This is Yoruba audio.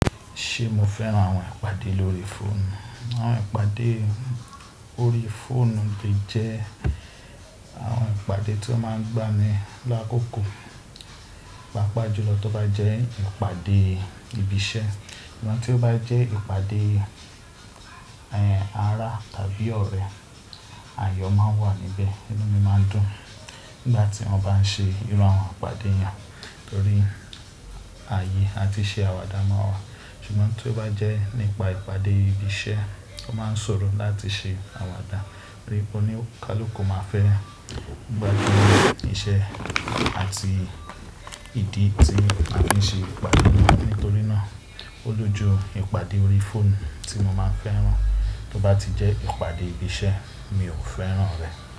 Ṣé mo fẹ́ràn àwọn ìpàdé lórí fóònù? Àwọn ìpàdé orí fóònù lè jẹ́ àwọn ìpàdé to máa ń gba ni lákòókò pá pà ju ló tó bá jẹ́ ìpàdé ibi iṣẹ́. Tí ó bá jẹ́ ìpàdé ara tàbí ọ̀rẹ́, ayọ̀ máa n wà níbẹ̀, inú mi máa n dùn nígbà tí wọ́n bá ń ṣe irú àwọn ìpàdé yẹn torí ààyè àti iṣẹ́ àwàdà máa wà. Ṣùgbọ́n tó bá jẹ́ nípa ìpàdé ibi iṣẹ́, o máa ń ṣòro láti ṣe àwàdà torí onikaluka máa fẹ́ gbajúmọ̀ iṣẹ́ àti ìdí tí a fi ń ṣe ìpàdé náà. Nítorí náà, ó lójú ìpàdé orí fóònù tí mo máa ń fẹ́ràn. Tó bá ti jẹ́ ìpàdé ibi iṣẹ́, mi ò fẹ́ràn rẹ̀.